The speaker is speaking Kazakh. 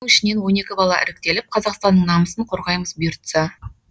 соның ішінен он екі бала іріктеліп қазақстанның намысын қорғаймыз бұйыртса